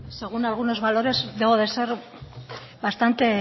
según algunos valores debo de ser bastante